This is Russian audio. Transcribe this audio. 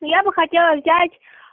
я бы хотела взять